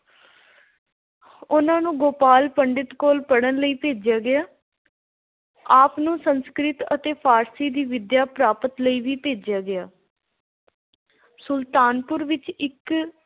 ਉਹਨਾ ਨੂੰ ਗੋਪਾਲ ਪੰਡਿਤ ਕੋਲ ਪੜ੍ਹਨ ਲਈ ਭੇਜਿਆ ਗਿਆ। ਆਪ ਨੂੰ ਸੰਸਕ੍ਰਿਤ ਅਤੇ ਫਾਰਸੀ ਦੀ ਵਿੱਦਿਆ ਪ੍ਰਾਪਤ ਲਈ ਵੀ ਭੇਜਿਆ ਗਿਆ। ਸੁਲਤਾਨਪੁਰ ਵਿੱਚ ਇੱਕ